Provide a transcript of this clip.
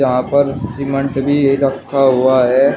वहां पर सिमांट भी रखा हुआ है।